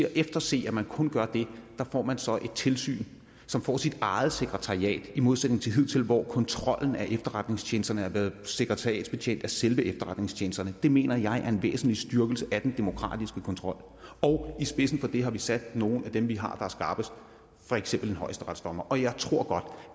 at efterse at man kun gør det får man så et tilsyn som får sit eget sekretariat i modsætning til hidtil hvor kontrollen af efterretningstjenesterne har været sekretariatsbetjent af selve efterretningstjenesterne det mener jeg er en væsentlig styrkelse af den demokratiske kontrol i spidsen for det har vi sat nogle af dem vi har er skarpest for eksempel en højesteretsdommer og jeg tror godt